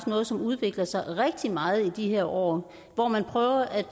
noget som udvikler sig rigtig meget i de her år hvor man prøver at